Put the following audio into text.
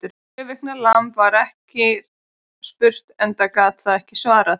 Sjö vikna lamb var ekki spurt, enda gat það ekki svarað.